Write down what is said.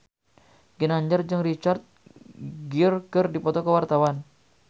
Ginanjar jeung Richard Gere keur dipoto ku wartawan